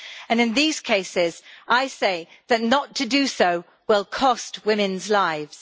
In these cases, I say that not to do so will cost women's lives.